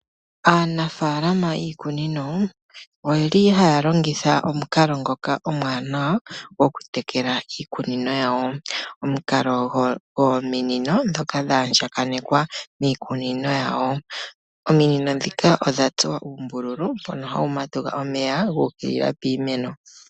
Aanafaalama yiikuninono oyeli haya longitha omukalo ngoka omuwanawa oku tekela iikunino yawo .omukalo dho minino ndhoka dha andjakanekwa miikunino yawo . Ominino ndhika odha tsuwa uumbululu mbono hawu matuka omeya gu ukilila piimeno